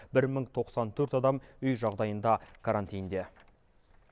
бір мың тоқсан төрт адам үй жағдайында карантинде